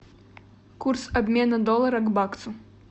курс обмена доллара к баксу